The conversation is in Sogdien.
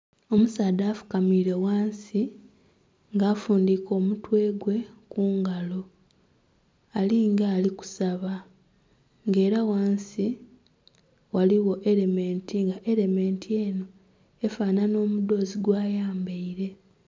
Omusaadha afukamiire ghansi nga afundhike omutwe gwe kungalo alinga ali kusaba nga era ghansi ghaligho erementi nga erementi eno efanhanha omudhoozi gwa yambaire.